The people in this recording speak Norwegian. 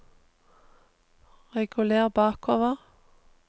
reguler bakover